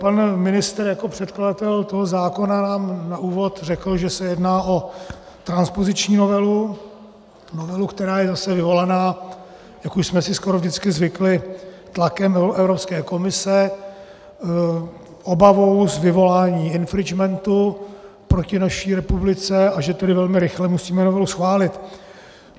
Pan ministr jako předkladatel toho zákona nám na úvod řekl, že se jedná o transpoziční novelu, novelu, která je zase vyvolaná, jak už jsme si skoro vždycky zvykli, tlakem Evropské komise, obavou z vyvolání infringementu proti naší republice, a že tedy velmi rychle musíme novelu schválit.